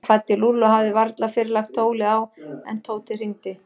Hann kvaddi Lúlla og hafði varla fyrr lagt tólið á en Tóti hringdi.